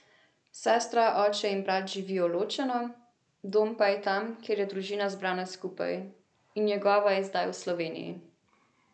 Sestra, oče in brat živijo ločeno, dom pa je tam, kjer je družina zbrana skupaj, in njegova je zdaj v Sloveniji.